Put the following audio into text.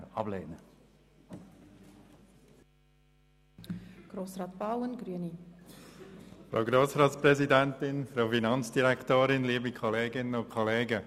Den Eventualantrag Köpfli, der zum x-ten Mal eingebracht wird, werden wir ablehnen.